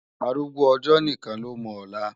Árúgbó òjò nikán ló mò òlá